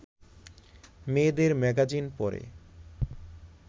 মেয়েদের ম্যাগাজিন পড়ে